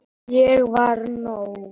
Ég var nóg.